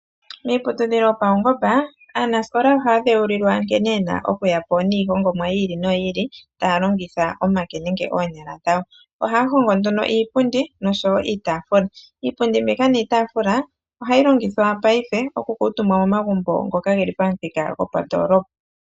Miiputudhilo yopaungomba, aanasikola ohaya dhewulilwa nkene ye na okuya po niihongomwa yi ili noyi ili, taya longitha omake nenge oonyala dhawo. Ohaya hongo nduno iipundi nosho wo iitaafula. Iipundi mbika niitaafula, ohayi longithwa paife okukuutumba momagumbo ngoka ge li pamuthika gopandoolopa.